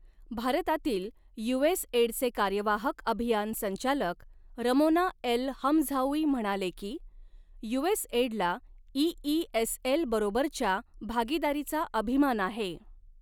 भारतातील यूएस एडचे कार्यवाहक अभियान संचालक रमोना एल हमझाऊई म्हणाले की, यूएस एडला ईईएसएल बरोबरच्या भागीदारीचा अभिमान आहे.